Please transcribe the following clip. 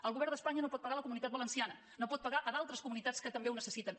el govern d’espanya no pot pagar a la comunitat valenciana no pot pagar a d’altres comunitats que també ho necessiten